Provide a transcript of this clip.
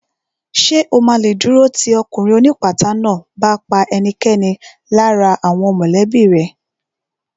Ṣè o ma lè dúró tì ọkùnrin ó ní ìpátá náà bá pa ẹnikẹ́ni lára àwọn mọ̀lẹ́bí rẹ̀